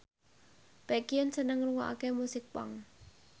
Baekhyun seneng ngrungokne musik punk